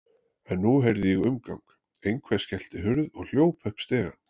En nú heyrði ég umgang, einhver skellti hurð og hljóp upp stigann.